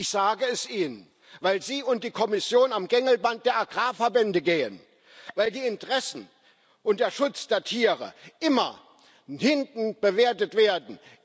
Ich sage es Ihnen Weil Sie und die Kommission am Gängelband der Agrarverbände gehen, weil die Interessen und der Schutz der Tiere immer von hinten bewertet werden.